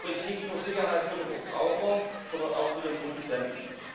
Das bringt nicht nur Sicherheit für den Verbraucher, sondern auch für den Produzenten.